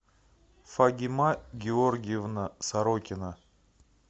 фагима георгиевна сорокина